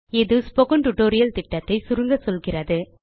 இது spoken tutorial திட்டத்தை சுருங்க சொல்கிறது